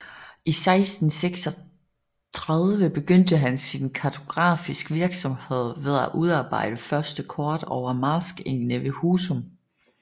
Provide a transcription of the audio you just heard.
I 1636 begyndte han sin kartografisk virksomhed med at udarbejde første kort over marskegnene ved Husum